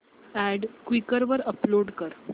add Quikr वर upload कर